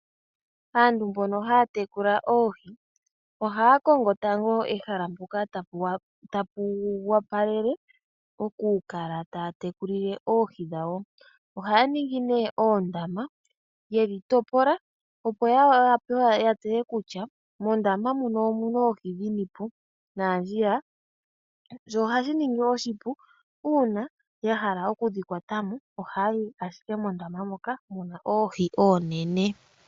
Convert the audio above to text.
Aantu mbono haya tekula oohi ohaa kongo tango ehala mpoka tapu opalele okukala taa tekulile oohi dhawo. Ohaya ningi nee oondama ye dhi topola opo ya wape ya tseye kutya mondama muno oohi dhini po naandjiya. Sho ohashi ningi oshipu uuna ya hala okudhikwata mo ohaayi ashike mondama moka muna oohi oonene.